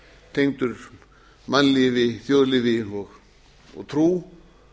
tengdur mannlífi þjóðlífi og trú